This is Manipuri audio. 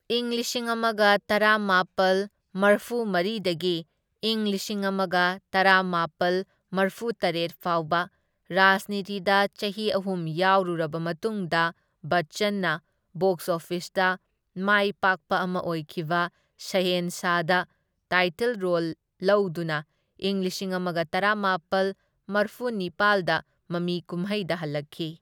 ꯏꯪ ꯂꯤꯁꯤꯡ ꯑꯃꯒ ꯇꯔꯥꯃꯥꯄꯜ ꯃꯔꯐꯨꯃꯔꯤꯗꯒꯤ ꯢꯪ ꯂꯤꯁꯤꯡ ꯑꯃꯒ ꯇꯔꯥꯃꯥꯄꯜ ꯃꯔꯐꯨꯇꯔꯦꯠ ꯐꯥꯎꯕ ꯔꯥꯖꯅꯤꯇꯤꯗ ꯆꯍꯤ ꯑꯍꯨꯝ ꯌꯥꯎꯔꯨꯔꯕ ꯃꯇꯨꯡꯗ ꯕꯆꯆꯟꯅ ꯕꯣꯛꯁ ꯑꯣꯐꯤꯁꯇ ꯃꯥꯏꯄꯥꯛꯄ ꯑꯃ ꯑꯣꯏꯈꯤꯕ ꯁꯍꯦꯟꯁꯥꯗ ꯇꯥꯏꯇꯜ ꯔꯣꯜ ꯂꯧꯗꯨꯅ ꯏꯪ ꯂꯤꯁꯤꯡ ꯑꯃꯒ ꯇꯔꯥꯃꯥꯄꯜ ꯃꯔꯐꯨꯅꯤꯄꯥꯜꯗ ꯃꯃꯤ ꯀꯨꯝꯍꯩꯗ ꯍꯜꯂꯛꯈꯤ꯫